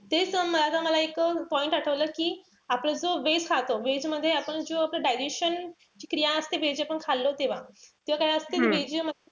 तेच मला मला एक point आठवला कि आपला जो veg खातो. Veg मध्ये आपण जो आपला digestion ची क्रिया असते veg आपण खालले तेव्हा. तेव्हा काई असते